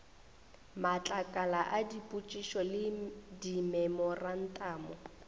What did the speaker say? matlakala a dipotšišo le dimemorantamo